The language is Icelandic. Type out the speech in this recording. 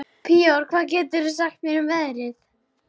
Príor, hvað geturðu sagt mér um veðrið?